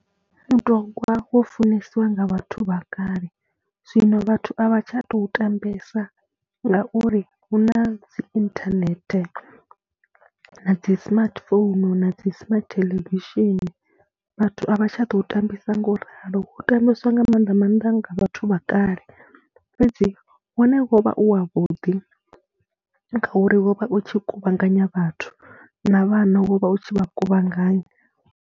Mutogwa wo funesiwa nga vhathu vha kale zwino vhathu a vha tsha tou tambesa ngauri hu na dzi inthanethe na dzi smartphone na dzi smart theḽevishini, vhathu a vha tsha ḓo tambisa ngo u ralo, u tambiswa nga maanḓa maanḓa nga vhathu vha kale fhedzi wone wo vha u wavhuḓi ngauri wo vha u tshi kuvhanganya vhathu na vhana wo vha u tshi vha kuvhanganya.